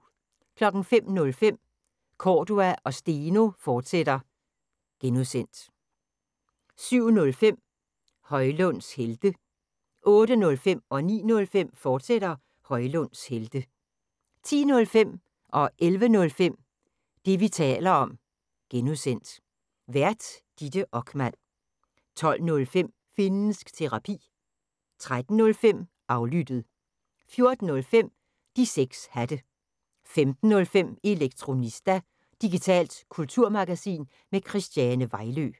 05:05: Cordua & Steno, fortsat (G) 07:05: Højlunds Helte 08:05: Højlunds Helte, fortsat 09:05: Højlunds Helte, fortsat 10:05: Det, vi taler om (G) Vært: Ditte Okman 11:05: Det, vi taler om (G) Vært: Ditte Okman 12:05: Finnsk Terapi 13:05: Aflyttet 14:05: De 6 Hatte 15:05: Elektronista – digitalt kulturmagasin med Christiane Vejlø